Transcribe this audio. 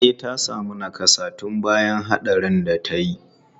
E, ta sami nakassa tun bayan hatsarin da ta yi.